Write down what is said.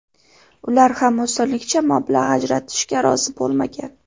Ular ham osonlikcha mablag‘ ajratishga rozi bo‘lmagan.